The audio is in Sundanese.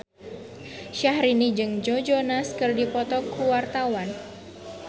Syahrini jeung Joe Jonas keur dipoto ku wartawan